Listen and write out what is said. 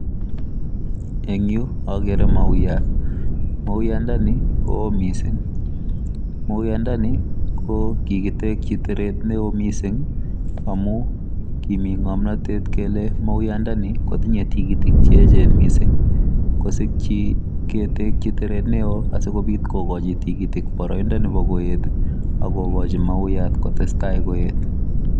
Eng agere maiyaat mauyat ndeni ko wooh missing maiyaat ndeni ko kikitekyii terter ne wooh missing amuun kimii ngamnatet kele maiyaat ndeni kotinyei tikitiik che eecheen missing ii kosikyii ketekyi terter ne wooh asikogochii tikitiik che eecheen asikogochii mauyaat kotestai koyeet.